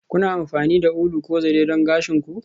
Kuna amfani da ulu ko zare don gashin ku?